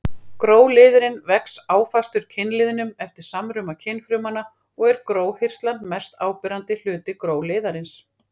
Gróliðurinn vex áfastur kynliðnum eftir samruna kynfrumanna og er gróhirslan mest áberandi hluti gróliðarins.